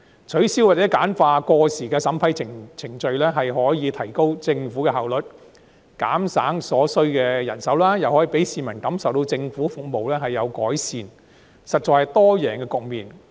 取消或簡化過時的審批程序，可以提高政府效率，減省所需人手，亦可讓市民感受到政府服務有所改善，實在是多贏局面。